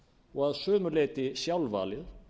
og að sumu leyti sjálfvalið